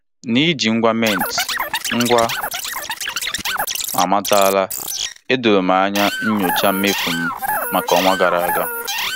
Ndị nwe obere azụmaahịa na-adaberewanye na ngwa mkpanaka maka njikwa ego na nlekota ego mmefu.